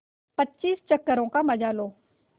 पच्चीस चक्करों का मजा लो